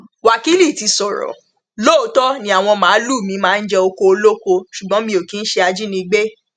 wákìlì ti sọrọ lóòótọ ni àwọn màálùú mi máa ń jẹ ọkọ olóko ṣùgbọn mi ò kì í ṣe ajínigbé